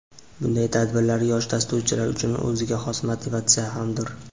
Bunday tadbirlar yosh dasturchilar uchun o‘ziga xos motivatsiya hamdir.